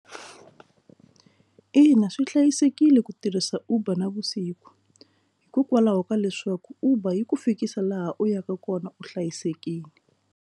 Ina swi hlayisekile ku tirhisa uber na vusiku hikokwalaho ka leswaku uber yi ku fikisa laha u yaka kona u hlayisekile.